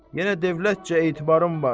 Yenə dövlətcə etibarım var.